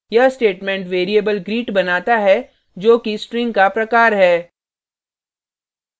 यह statement variable greet बनाता है जो कि string का प्रकार है